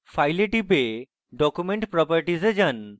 file এ টিপুন এবং document properties এ যান